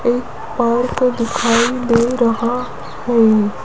एक पार्क दिखाई दे रहा है।